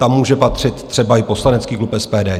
Tam může patřit třeba i poslanecký klub SPD.